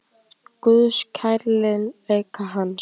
Guðs og kærleika hans.